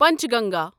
Panchganga